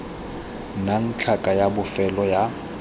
nnang tlhaka ya bofelo ya